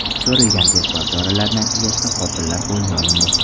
Ko‘rilgan tezkor choralar natijasida qotillar qo‘lga olindi.